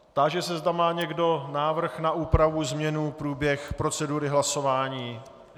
Táži se, zda má někdo návrh na úpravu, změnu, průběh procedury hlasování?